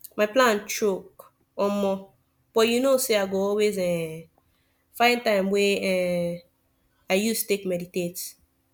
my plan choke omo but you know say i go always um find time wey um i use take meditate